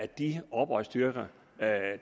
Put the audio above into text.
de oprørsstyrker